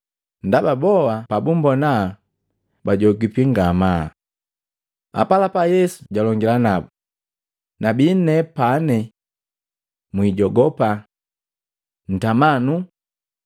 Ndaba boa pabumbona bajogipi ngamaa. Apalapa Yesu jalongila nabu, “Nabi nepane! Mwijogopa! Ntama nuu.”